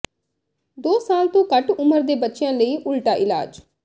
ਦੋ ਸਾਲ ਤੋਂ ਘੱਟ ਉਮਰ ਦੇ ਬੱਚਿਆਂ ਲਈ ਉਲਟਾ ਇਲਾਜ